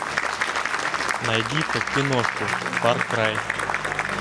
найди ка киношку фар край